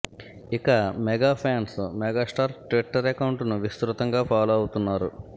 ఇక mega fans megastar Twitter account ను విస్తృతంగా ఫాలో అవుతున్నారు